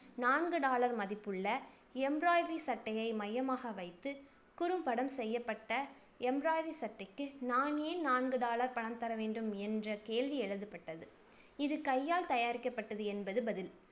நான்கு டாலர் மதிப்புள்ள embroidery சட்டையை மையமாக வைத்து குறும்படம் செய்யப்பட்ட embroidery சட்டைக்கு நான் ஏன் நான்கு டாலர் பணம் தரவேண்டும் என்ற கேள்வி எழுதப்பட்டது. இது கையால் தயாரிக்கப்பட்டது என்பது பதில்.